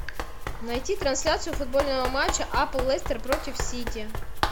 найти трансляцию футбольного матча апл лестер против сити